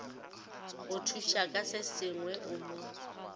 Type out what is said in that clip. go thušaka sesengwe o mo